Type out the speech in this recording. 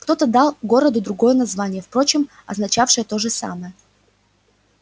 кто-то дал городу другое название впрочем означавшее то же самое